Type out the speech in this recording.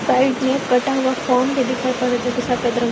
side में कटा हुआ फोम भी दिखाई पड़ रहा जो कि सफेद रंग--